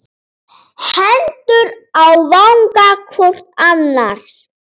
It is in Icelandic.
Hendur á vanga hvor annars.